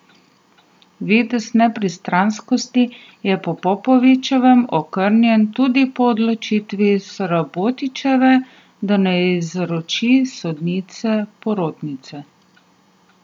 Videz nepristranskosti je po Popovičevem okrnjen tudi po odločitvi Srabotičeve, da ne izloči sodnice porotnice.